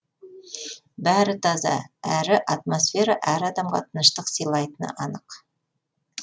бәрі таза әрі атмосфера әр адамға тыныштық сыйлайтыны анық